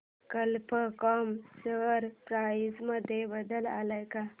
कल्प कॉम share price मध्ये बदल आलाय का